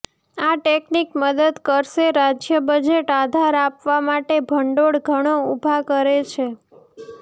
આ ટેકનીક મદદ કરશે રાજ્ય બજેટ આધાર આપવા માટે ભંડોળ ઘણો ઊભા કરે છે